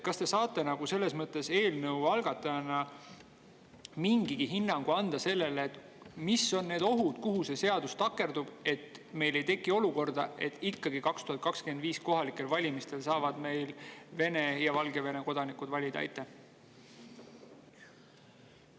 Kas te saate eelnõu algatajana anda mingi hinnangu, mis on need ohud, kuhu see seadus võib takerduda, nii et meil ei tekigi olukorda ja 2025. aasta kohalikel valimistel saavad Vene ja Valgevene kodanikud ikkagi valida?